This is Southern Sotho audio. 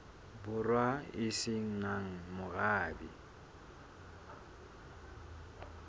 borwa e se nang morabe